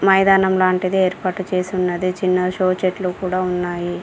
మైదానం లాంటిది ఏర్పాటు చేసి ఉన్నది చిన్న షో చెట్లు కూడా ఉన్నాయి.